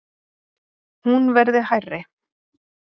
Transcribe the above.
Hún verði hærri.